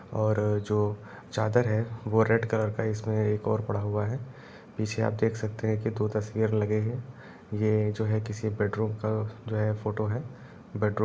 और जो चादर है वो रेड कलर का है इसमें एक और पड़ा हुआ है पीछे आप देख सकते है की दो तस्वीर लगे हुए है ये जो है की बेडरूम का जो है फोटो है।